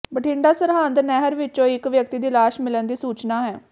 ਬਠਿੰਡਾ ਸਰਹਿੰਦ ਨਹਿਰ ਵਿਚੋਂ ਇਕ ਵਿਅਕਤੀ ਦੀ ਲਾਸ਼ ਮਿਲਣ ਦੀ ਸੂਚਨਾ ਹੈ